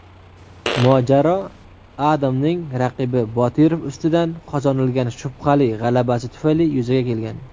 mojaro Adamning raqibi Botirov ustidan qozonilgan shubhali g‘alabasi tufayli yuzaga kelgan.